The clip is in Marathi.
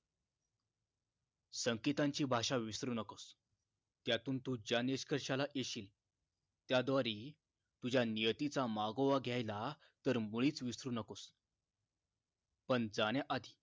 संकेतांची भाषा विसरू नकोस यातून तू ज्या निष्कर्षाला येशील त्या द्वारी तुझ्या नियतीचा मागोवा घ्यायला तर मुळीच विसरू नकोस पण जाण्याआधी